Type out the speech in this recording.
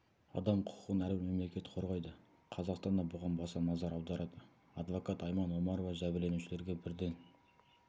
адам құқығын әрбір мемлекет қорғайды қазақстан да бұған баса назар аударады адвокат айман омарова жәбірленушілерге бірден